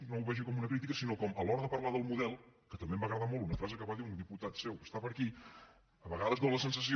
no ho vegi com una crítica sinó que a l’hora de parlar del model que també em va agradar molt una frase que va dir un diputat seu que està per aquí a vegades dóna la sensació